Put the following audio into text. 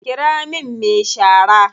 Ƙira min me shara.